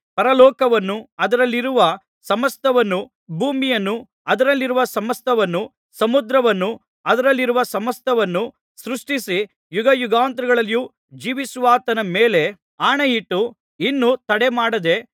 ಪರಲೋಕವನ್ನೂ ಅದರಲ್ಲಿರುವ ಸಮಸ್ತವನ್ನೂ ಭೂಮಿಯನ್ನೂ ಅದರಲ್ಲಿರುವ ಸಮಸ್ತವನ್ನೂ ಸಮುದ್ರವನ್ನೂ ಅದರಲ್ಲಿರುವ ಸಮಸ್ತವನ್ನೂ ಸೃಷ್ಟಿಸಿ ಯುಗಯುಗಾಂತರಗಳಲ್ಲಿಯೂ ಜೀವಿಸುವಾತನ ಮೇಲೆ ಆಣೆಯಿಟ್ಟು ಇನ್ನು ತಡಮಾಡದೆ